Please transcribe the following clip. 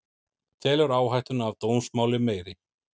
Telur áhættuna af dómsmáli meiri